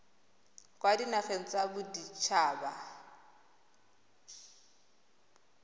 kwa dinageng tsa bodit haba